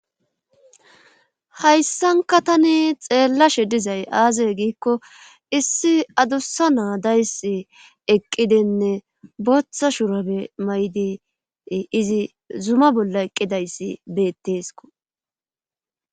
Hayssanka tani xeellashe dizay aaze giikko issi adussa na7a dayssi eqqidinne booththa shurabe mayidi izi zuma bolla eqqidayssi beettesko.